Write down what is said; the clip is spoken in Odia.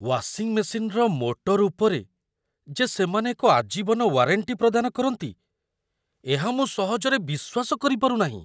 ୱାସିଂ ମେସିନ୍‌ର ମୋଟର ଉପରେ ଯେ ସେମାନେ ଏକ ଆଜୀବନ ୱାରେଣ୍ଟି ପ୍ରଦାନ କରନ୍ତି, ଏହା ମୁଁ ସହଜରେ ବିଶ୍ୱାସ କରିପାରୁ ନାହିଁ।